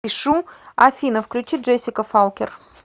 афина включи джессика фолкер